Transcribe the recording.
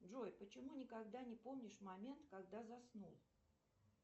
джой почему никогда не помнишь момент когда заснул